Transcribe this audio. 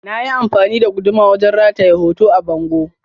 Na yi amfani da guduma wajen rataye hoto a bango.